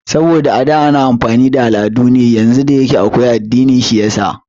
Saboda a da ana amfani da al'adu ne yanzu da akwai addini shiyasa